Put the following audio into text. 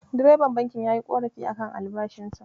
Direban bankin yayi ƙorafi a kan albashinsa.